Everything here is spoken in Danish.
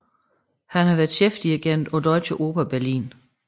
Han har været chefdirigent på Deutsche Oper Berlin